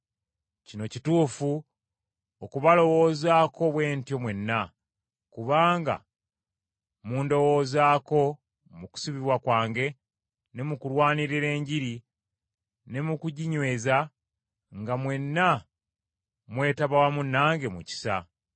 Kino kituufu okubalowoozaako bwe ntyo mwenna, kubanga mundowoozaako mu kusibibwa kwange ne mu kulwanirira Enjiri, ne mu kuginyweza, nga mwenna mwetaba wamu nange mu kisa.